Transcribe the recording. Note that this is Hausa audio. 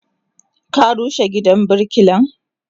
Ka rushe gidan birkilan?